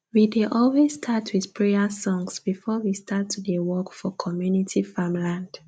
we dey always start with prayer songs before we start to dey work for community farmland